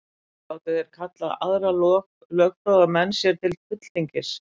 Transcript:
Gátu þeir kallað aðra lögfróða menn sér til fulltingis.